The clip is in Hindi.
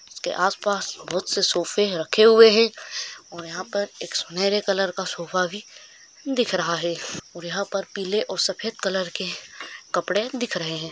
इसके आस-पास बहुत से सोफ़े रखे हुए है और यहा पर एक सुनहरे कलर का सोफा भी दिख रहा है और यहा पर पीले और सफ़ेद कलर के कपड़े दिख रहे है।